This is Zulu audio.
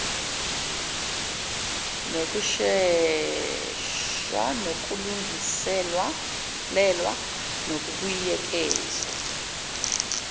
nokushehs kokulungiselelwa nokubuyekezwa